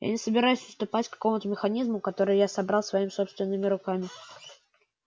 я не собираюсь уступать какому-то механизму который я собрал своими собственными руками